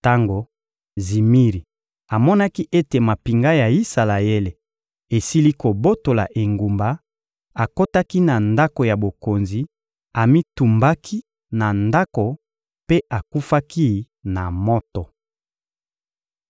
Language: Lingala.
Tango Zimiri amonaki ete mampinga ya Isalaele esili kobotola engumba, akotaki na ndako ya bokonzi, amitumbaki na ndako mpe akufaki na moto.